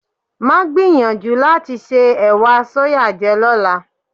Máa gbìyànjú láti se ẹ̀wà sóyà jẹ lọ́la.